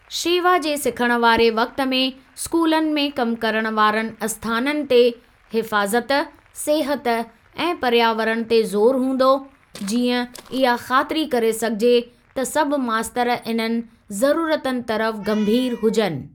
शेवा जे सिखण वारे वक़्ति में स्कूलनि में कम करणु वारनि आस्थाननि ते हिफ़ाज़त, सिहत ऐं पर्यावरण ते जोरु हूंदो, जीअं इहा ख़ातिरी करे सघिजे त सभु मास्तर इन्हनि ज़रूरतुनि तरफ़ गंभीर हुजनि।